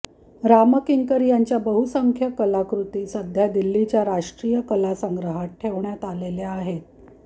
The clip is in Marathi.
रामकिंकर यांच्या बहुसंख्य कलाकृती सध्या दिल्लीच्या राष्ट्रीय कलासंग्रहात ठेवण्यात आलेल्या आहेत